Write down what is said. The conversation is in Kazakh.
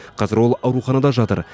қазір ол ауруханада жатыр